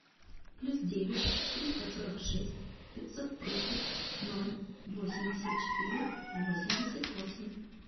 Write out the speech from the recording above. плюс девять триста сорок шесть пятьсот тридцать ноль восемьдесят четыре восемьдесят восемь